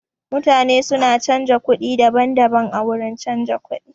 Mutane su na canza kuɗi daban-daban a wurin canza kuɗi.